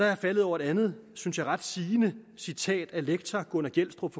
jeg faldet over et andet synes jeg ret sigende citat af lektor gunnar gjelstrup